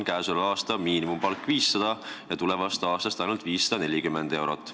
Käesoleva aasta miinimumpalk on jätkuvalt 500 eurot ja tulevast aastast on see ainult 540 eurot.